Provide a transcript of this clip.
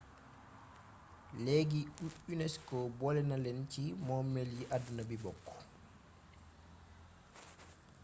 leegi unesco boolena leen ci moomeel yi àdduna bi bokk